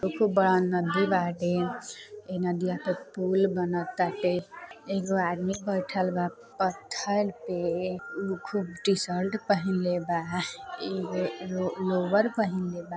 खूब बड़हन नदी बाटे ए नदिया के पूल बना ताटे एगो आदमी बैठल बा पत्थर पे उ खूब टि-शर्ट पहन ले ब ई लो लोअर पहन ले बा --